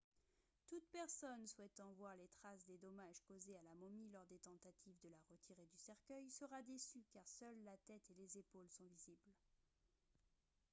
toute personne souhaitant voir les traces des dommages causés à la momie lors des tentatives de la retirer du cercueil sera déçue car seules la tête et les épaules sont visibles